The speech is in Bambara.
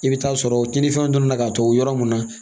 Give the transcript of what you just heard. I bɛ taa sɔrɔ cɛninfɛnw dɔnna ka to yɔrɔ mun na